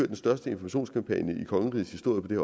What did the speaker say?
den største informationskampagne i kongerigets historie på det